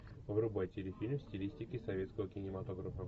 врубай телефильм в стилистике советского кинематографа